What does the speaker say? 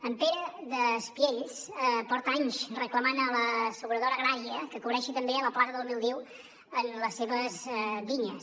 en pere d’espiells porta anys reclamant a l’asseguradora agrària que cobreixi també la plaga del míldiu en les seves vinyes